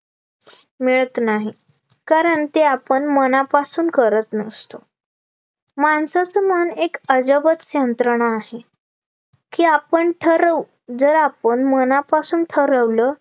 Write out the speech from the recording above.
मिळत नाही कारण ते आपण मनापासून करत नसतो माणसाचा मन एक अजबच यंत्रणा आहे, की आपण ठरवू जर आपण मनापासून ठरवलं